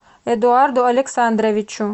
эдуарду александровичу